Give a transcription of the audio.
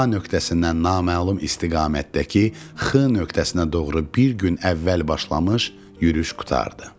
A nöqtəsindən naməlum istiqamətdəki X nöqtəsinə doğru bir gün əvvəl başlamış yürüş qurtardı.